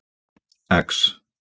X